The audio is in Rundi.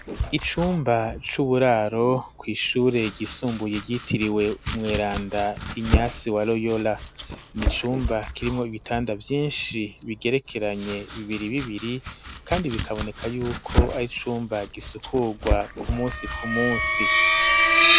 Icumba c'uburaro kw'ishure ryisumbuye, ryitiriwe umweranda "Ignace wa Loyola", ni icumba kirimwo ibitanda vyinshi, bigerekeranye bibiri bibiri, kandi bikaboneka y'uko ari icumba gisukurwa ku munsi ku munsi.